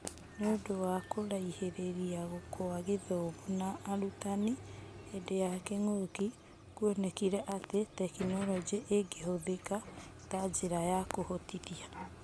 Nĩũndũ wa kũraihĩrĩria kwa gĩthomo na ũrutani hĩndĩ ya kĩng'ũki, kuonekĩre atĩ Tekinoronjĩ ĩngĩhũthĩka ta njĩra ya kũhotithia.